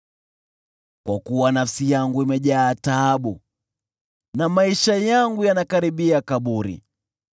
Kwa maana nafsi yangu imejaa taabu, na maisha yangu yanakaribia kaburi.